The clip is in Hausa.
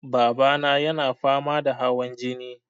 Babana yana fama da hawan jini.